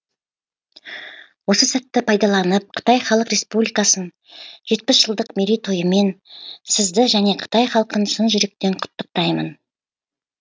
осы сәтті пайдаланып қытай халық республикасын жетпіс жылдық мерейтойымен сізді және қытай халқын шын жүректен құттықтаймын